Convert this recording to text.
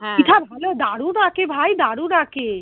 ভালো দারুণ আঁকে ভাই দারুন আঁকে